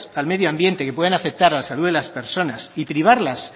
a medio ambiente que pueden afectar a la salud de las personas y privarlas